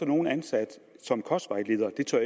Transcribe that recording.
nogle ansat som kostvejleder det tør